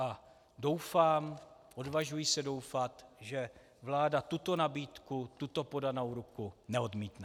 A doufám, odvažuji se doufat, že vláda tuto nabídku, tuto podanou ruku neodmítne.